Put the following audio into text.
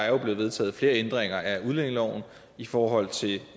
er blevet vedtaget flere ændringer af udlændingeloven i forhold til